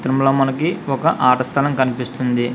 ఇందులో మనకి ఒక ఆట స్థలం కనిపిస్తుంది.